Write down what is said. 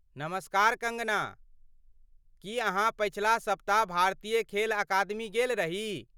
नमस्कार कँगना, की अहाँ पछिला सप्ताह भारतीय खेल अकादमी गेल रही?